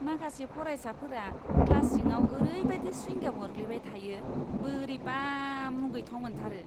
माखासे फारायसाफोरा क्लास सिङाव ओरैबायदि स्विंगाम अरग्लिबाय थायो, बोरैबा मुगैथाव मोनथारो!